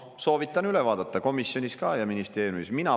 Soovitan üle vaadata, komisjonis ja ministeeriumis samuti.